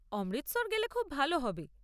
অমৃতসর গেলে খুব ভাল হবে।